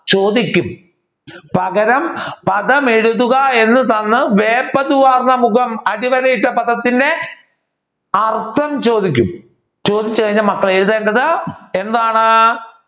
ചോദിക്കും. പകരം പദമെഴുതുക എന്ന് തന്ന് വേപതു വാർന്ന മുഖം അടിവരയിട്ട പദത്തിന്റെ അർഥം ചോദിക്കും. ചോദിച്ചുകഴിഞ്ഞാൽ മക്കൾ എഴുതേണ്ടത് എന്താണ്?